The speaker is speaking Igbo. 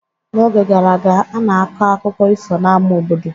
N'oge gara aga, a na-akọ akụkọ ifo n'ámá obodo.